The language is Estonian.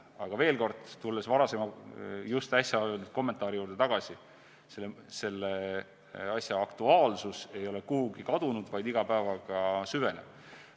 Aga veel kord, tulles varasema, just äsja öeldud kommentaari juurde tagasi: selle asja aktuaalsus ei ole kuhugi kadunud, vaid iga päevaga süveneb.